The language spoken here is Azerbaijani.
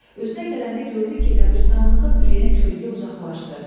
Özünə gələndə gördü ki, qəbiristanlığı bürüyən kölgə uzaqlaşdı.